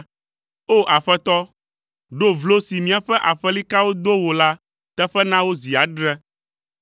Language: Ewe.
O! Aƒetɔ, ɖo vlo, si míaƒe aƒelikawo do wò la teƒe na wo zi adre.